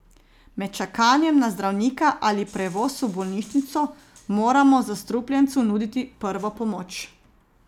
Med čakanjem na zdravnika ali prevoz v bolnišnico moramo zastrupljencu nuditi prvo pomoč.